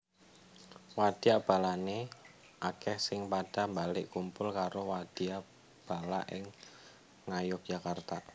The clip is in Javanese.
Wadya balané akèh sing padha mbalik kumpul karo wadya bala ing Ngayogyakarta